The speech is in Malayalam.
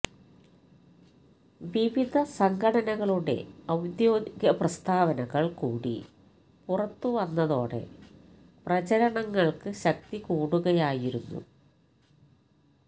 വിവിധ സംഘടനകളുടെ ഔദ്യോഗിക പ്രസ്താവനകള് കൂടി പുറത്തു വന്നതോടെ പ്രചരണങ്ങള്ക്ക് ശക്തി കൂടുകയായിരുന്നു